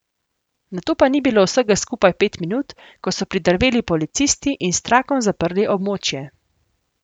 Nato pa ni bilo vsega skupaj pet minut, ko so pridrveli policisti in s trakom zaprli območje.